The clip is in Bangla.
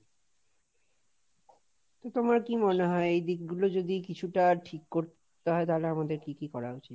তোমার কি মনে হয় এই দিকগুলো যদি কিছুটা ঠিক করতে হয় তাহলে আমাদের কি কি করা উচিত?